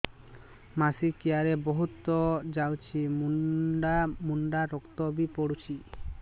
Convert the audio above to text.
ମାସିକିଆ ରେ ବହୁତ ଯାଉଛି ମୁଣ୍ଡା ମୁଣ୍ଡା ରକ୍ତ ବି ପଡୁଛି